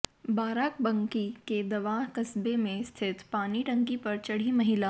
बाराबंकी के देवा कस्बे में स्थित पानी टंकी पर चढ़ी महिला